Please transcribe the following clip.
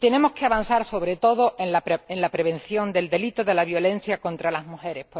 Y tenemos que avanzar, sobre todo, en la prevención del delito de la violencia contra las mujeres.